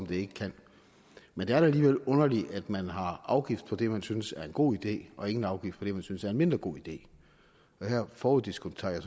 det ikke kan men det er da alligevel underligt at man har afgift på det man synes er en god idé og ingen afgift på det man synes er en mindre god idé her foruddiskonterer jeg